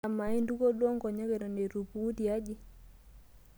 Amaa, intukuo duo nkonyek eto eitu ipuku tiaji?